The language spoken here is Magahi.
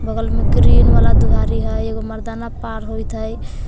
बगल में ग्रीन वाला दुआरी ह एगो मरदाना पार होइत हय।